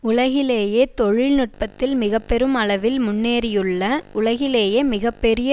உலகிலேயே தொழில்நுட்பத்தில் மிக பெரும் அளவில் முன்னேறியுள்ள உலகிலேயே மிக பெரிய